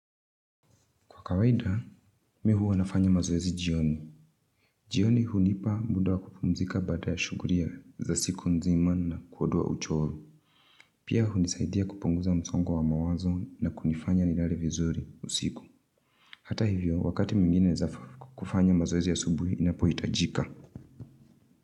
Kwa kawaida, mimi huwa nafanya mazoezi jioni. Jioni hunipa muda wa kupumzika bada ya shugulia ya za siku nzima na kuondoa uchovu. Pia hunisaidia kupunguza msongo wa mawazo na kunifanya nilale vizuri usiku. Hata hivyo, wakati mwingine naeza kufanya mazoezi ya asubuhi inapohitajika.